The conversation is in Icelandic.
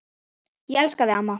Ég elska þig, amma.